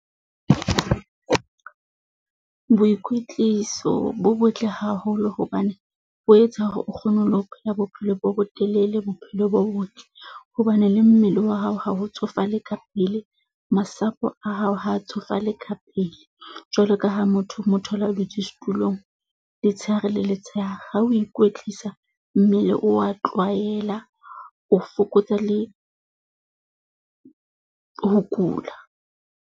Boikwetliso bo botle haholo hobane bo etsa hore o kgone le ho phela bophelo bo botelele. Bophelo bo botle hobane le mmele wa hao ha o tsofale ka pele, masapo a hao ha tsofale ka pele. Jwalo ka ha motho mo thole a dutse setulong, letsheare le letsheare ha o ikwetlisa mmele o wa tlwaela, o fokotsa le, ho kula.